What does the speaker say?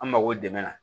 An mako dɛmɛ na